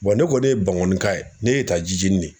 ne kɔni ye bankɔnika ye ne y'e ta JIJENI de.